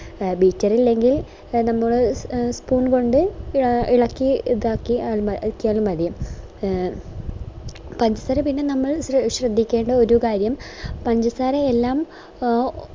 beater ഇല്ലെങ്കിൽ എ നമ്മള് spoon കൊണ്ട് ഇളക്കി ഇതാക്കി യാ എ ആക്കിയാലും മതി പഞ്ചസാര പിന്നെ നമ്മൾ ശ്രെദ്ധിക്കേണ്ട ഒര് കാര്യം പഞ്ചസാര എല്ലാം എ